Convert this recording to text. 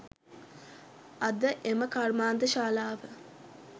අද එම කර්මාන්තශාලාව